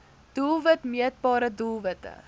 doelwit meetbare doelwitte